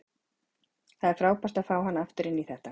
Það er frábært að fá hann aftur inn í þetta.